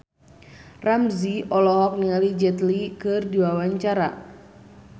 Ramzy olohok ningali Jet Li keur diwawancara